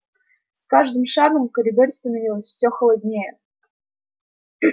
с каждым шагом в коридоре становилось всё холоднее